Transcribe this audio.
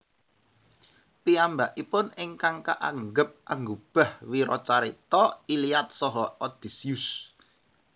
Piyambakipun ingkang kaanggep anggubah wiracarita Iliad saha Odysseus